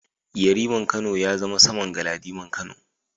Yariman Kano ya zama saman Galadiman Kano.